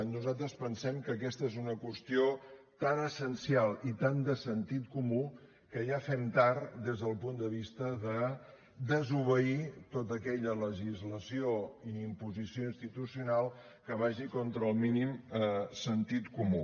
nosaltres pensem que aquesta és una qüestió tan essencial i tan de sentit comú que ja fem tard des del punt de vista de desobeir tota aquella legislació i imposició institucional que vagi contra el mínim sentit comú